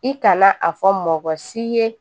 I kana a fɔ mɔgɔ si ye